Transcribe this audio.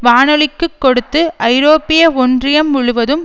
வானொலிக்குக் கொடுத்து ஐரோப்பிய ஒன்றியம் முழுவதும்